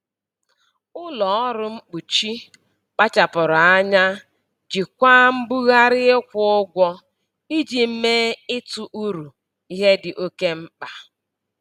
Ụlọ ọrụ mkpuchi kpachapụrụ anya jikwaa mbugharị ịkwụ ụgwọ iji mee ịtụ uru ihe dị oke mkpa.